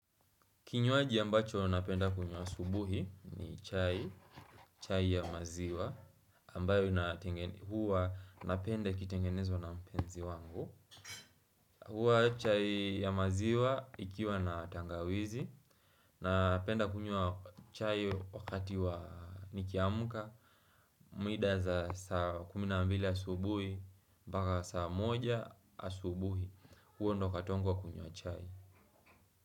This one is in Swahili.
Kinywaji ambacho napenda kunywa asubuhi ni chai, chai ya maziwa, ambayo huwa napenda ikitengenezwa na mpenzi wangu. Huwa chai ya maziwa ikiwa na tangawizi, napenda kunywa chai wakati wa nikiamka, mida za saa kumi na mbili asubuhi, mpaka saa moja asubuhi, huo ndio wakati wangu wa kunywa chai.